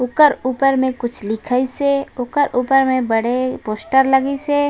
ओकर ऊपर में कुछ लिखाइस हे ओकर ऊपर में बड़े पोस्टर लगीस हे।